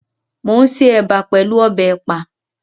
Mo n ṣe ẹ̀bà pẹlú ọbẹ̀ ẹ̀pà.